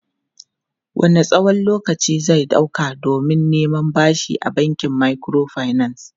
Wanne tsawon lokaci zai ɗauka don neman bashi a bankin microfinance?